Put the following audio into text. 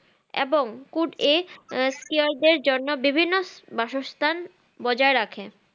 এবং জন্য বিভিন্ন বাসস্থান বজায় রাখে।